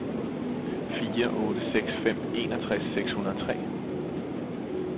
fire otte seks fem enogtres seks hundrede og tre